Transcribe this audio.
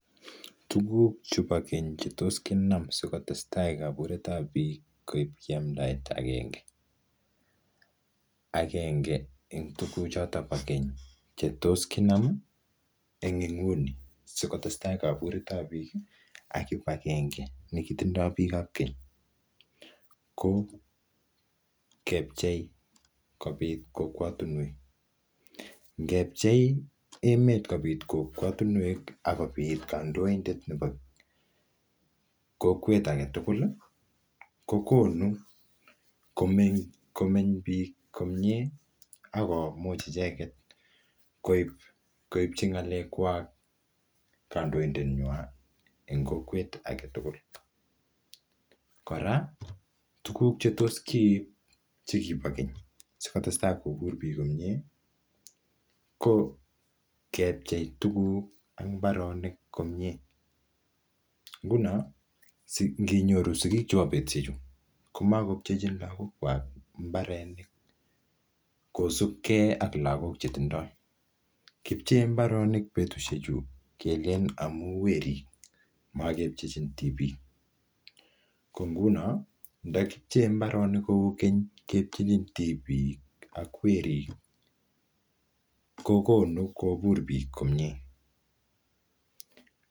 Tuguk chebo keny chetos kinam sikotestai kaburetap biik koipchi amdaet agenge. Agenge eng tuguk chotok bo keny che tos kinam eng inguni sikotestai kaburet ap biik, ak kibagenge ne kitindoi bik ap keny, ko kepchei kobit kokwatunwek. Ngepchei emet kobiit kokwotunwek akobiit kandoidet nebo kokwet age tugul, kokonu komeng, komeny biik komye akomuch icheket koib, koipchi ngalek kwak kandoidet nywa eng kokwet age tugul. Kora, tuguk che tos kiib che kibo keny sikotestai kobur biik komyee, ko kepchei tuguk ak mbaronik komyee. Nguno si nginyoru sigikab betushek chu, komakopchechin lagok kwak mbarenik kopsukey ak lagok che tindoi. Kipchee mbaronik betushek chu kelen amuu werik, makepchechin tibik. Ko nguno, ndakipchee mbaronik kou keny kepchechin tibik ak werik, kokonu kobur biik komyee.